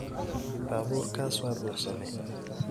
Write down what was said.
Baburkas wa buxsame.